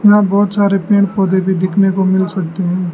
यहां बहोत सारे पेड़ पौधे भी दिखने को मिल सकते हैं।